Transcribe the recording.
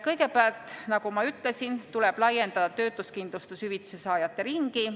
Kõigepealt, nagu ma ütlesin, tuleb laiendada töötuskindlustushüvitise saajate ringi.